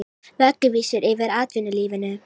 Vögguvísur yfir atvinnulífinu